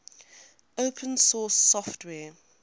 open source software